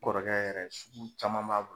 Kɔrɔkɛ yɛrɛ sugu caman b'a bol